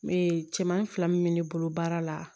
Me cɛmanin fila min bɛ ne bolo baara la